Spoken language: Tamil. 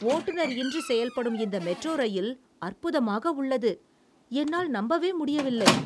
ஓட்டுநர் இன்றி செயல்படும் இந்த மெட்ரோ இரயில் அற்புதமாக உள்ளது. என்னால் நம்பவே முடியவில்லை...